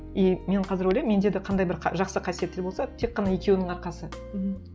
и мен қазір ойлаймын менде де қандай бір жақсы қасиеттер болса тек қана екеуінің арқасы мхм